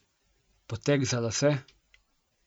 Poteg za lase?